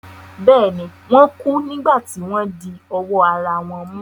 Bẹ́ẹ̀ ni, Wọ́n kú nígbà tí wọ́n di ọwọ́ ara wọn mú.